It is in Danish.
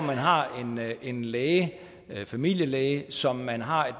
man har en læge familielæge som man har